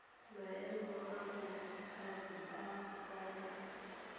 maemo a botshabi a tsaya